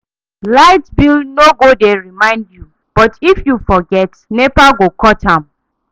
Light bill no go dey remind you, but if you forget, NEPA go cut am.